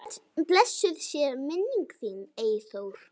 Blessuð sé minning þín, Eyþór.